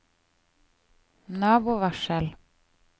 nabovarsel